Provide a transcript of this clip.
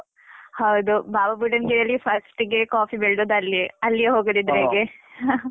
ಹೌದು. ಬಾಬಾಬುಡನ್ಗಿರಿಯಲ್ಲಿ first ಗೆ coffee ಬೆಳ್ದದ್ದ್ ಅಲ್ಲಿಯೇ. ಅಲ್ಲಿಗೆ ಹೋಗದಿದ್ರೆ